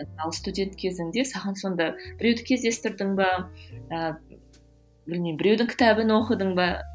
ал студент кезіңде саған сонда біреуді кездестірдің бе ы білмеймін біреудің кітабын оқыдың ба